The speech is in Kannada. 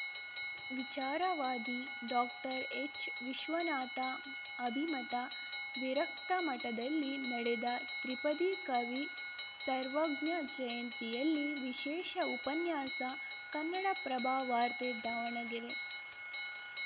ವಿಚಾರವಾದಿ ಡಾಕ್ಟರ್ಎಚ್‌ವಿಶ್ವನಾಥ ಅಭಿಮತ ವಿರಕ್ತಮಠದಲ್ಲಿ ನಡೆದ ತ್ರಿಪದಿ ಕವಿ ಸರ್ವಜ್ಞ ಜಯಂತಿಯಲ್ಲಿ ವಿಶೇಷ ಉಪನ್ಯಾಸ ಕನ್ನಡಪ್ರಭವಾರ್ತೆ ದಾವಣಗೆರೆ